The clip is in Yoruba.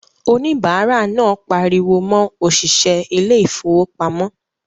Òníbárà náà pariwo mọ òṣìṣẹ́ ilé ìfowópamọ́